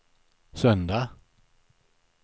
söndag